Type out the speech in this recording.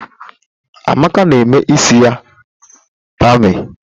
Amaka na eme isi ya pamịn.